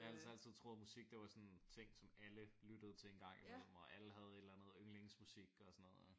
Jeg har ellers altid troet at musik det var sådan en ting som alle lyttede til en gang i mellem og alle havde et eller andet yndlingsmusik og sådan noget